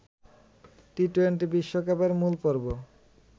T twenty বিশ্বকাপের মূলপর্ব